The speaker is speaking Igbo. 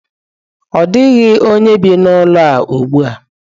Ọ dịghị onye bi n'ụlọ a ugbu a.